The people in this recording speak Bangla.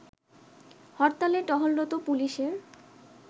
হরতালে টহলরত পুলিশের